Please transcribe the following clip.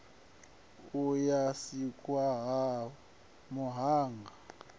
ya u sikwa ha muhanga